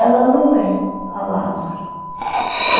Ela não é a Lazára.